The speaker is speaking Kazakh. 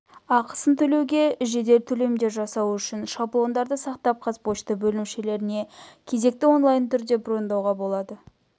ақысын төлеуге жедел төлемдер жасау үшін шаблондарды сақтап қазпошта бөлімшелеріне кезекті онлайн түрде брондауға болады